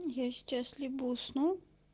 я сейчас либо усну